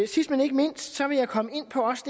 sidst men ikke mindst vil jeg komme ind på også